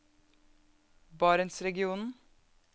barentsregionen